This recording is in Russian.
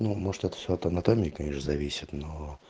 ну может это все от анатомика зависит но